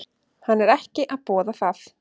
Hann er ekki að boða það.